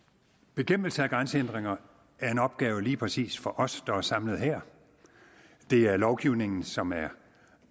bekæmpelse af grænsehindringer er en opgave lige præcis for os der er samlet her det er lovgivningen som er